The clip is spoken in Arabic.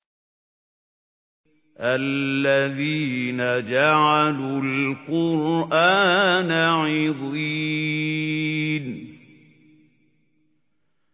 الَّذِينَ جَعَلُوا الْقُرْآنَ عِضِينَ